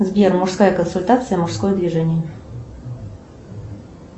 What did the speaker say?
сбер мужская консультация мужское движение